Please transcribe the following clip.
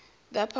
the apollo